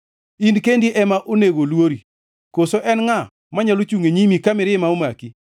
In kendi ema onego oluori. Koso en ngʼa manyalo chungʼ e nyimi ka mirima omaki?